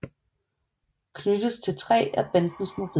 Knyttes til tre af bandens mobiler